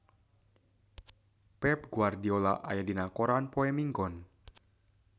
Pep Guardiola aya dina koran poe Minggon